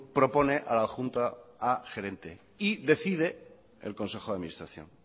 propone a la junta a gerente y decide el consejo de administración